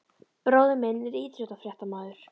Bróðir minn er íþróttafréttamaður.